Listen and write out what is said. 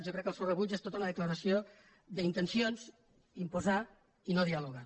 jo crec que el seu rebuig és tota una declaració d’intencions imposar i no dialogar